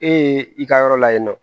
E ye i ka yɔrɔ la yen nɔ